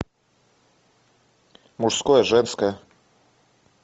мужское женское